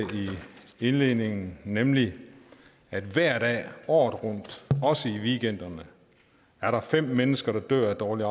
i indledningen nemlig at hver dag året rundt også i weekenderne er der fem mennesker der dør af dårligt